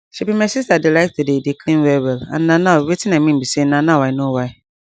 shebi my sister dey like to dey dey clean well well and na now wetin i mean bi say na now i know why